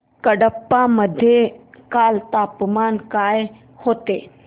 कडप्पा मध्ये काल तापमान काय होते